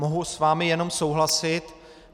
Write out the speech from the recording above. Mohu s vámi jenom souhlasit.